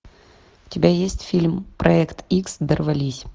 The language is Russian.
у тебя есть фильм проект икс дорвались